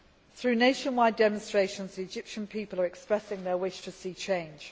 delay. Through nationwide demonstrations, the Egyptian people are expressing their wish to see